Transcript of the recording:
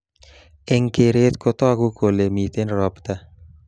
Eng keret kotaku kole mitien robta